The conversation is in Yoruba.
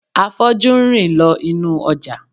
Afọ́jú ń rìn lọ inú ọjà